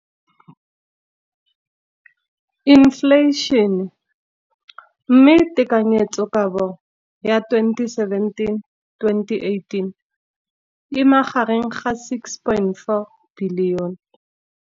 Infleišene, mme tekanyetsokabo ya 2017, 18, e magareng ga R6.4 bilione.